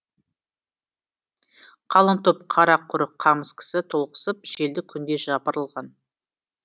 қалың топ қара құрық қамыс кісі толықсып желді күндей жапырылған